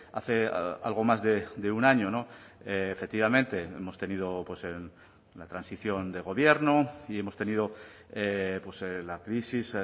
hace algo más de un año efectivamente hemos tenido la transición de gobierno y hemos tenido la crisis